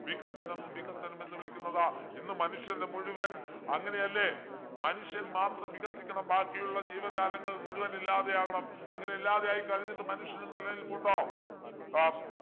വികസനം വികസനം എന്ന് വിളിക്കുന്നത് ഇന്ന് മനുഷ്യൻ്റെ മുഴുവൻ അങ്ങനെയല്ലേ മനുഷ്യൻ മാത്രം വികസിക്കണം ബാക്കിയുള്ള ജീവജാലങ്ങൾ മുഴുവൻ ഇല്ലാതെയാകണം അങ്ങനെ ഇല്ലാതെയായി കഴിഞ്ഞിട്ട് മനുഷ്യൻ്റെ നിലനിൽപ്പ് ഉണ്ടോ ആഹ്